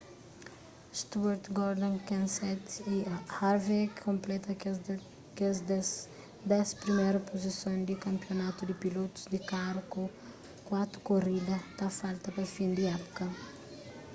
stewart gordon kenseth y harvick konpleta kes dés priméru puzison di kanpionatu di pilotus di karu ku kuatu korida ta falta pa fin di épuka